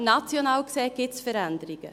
National gesehen gibt es Veränderungen.